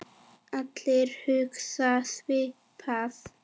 Allir hugsa svipað.